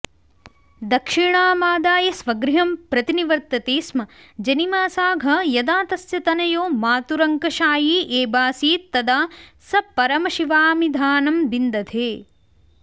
दक्षिणामादाय स्वगृहम् प्रतिनिवर्तते स्म जनिमासाघ यदा तस्य तनयो मातुरङ्कशायी एबासीत्तदास परमशिवामिधानं बिंदधे